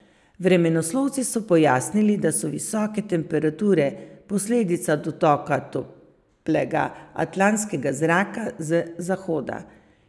Vremenoslovci so pojasnili, da so visoke temperature posledica dotoka toplega atlantskega zraka z zahoda.